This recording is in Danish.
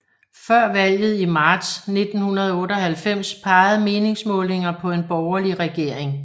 Før valget i marts 1998 pegede meningsmålinger på en borgerlig regering